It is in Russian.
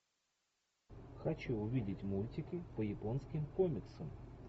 хочу увидеть мультики по японским комиксам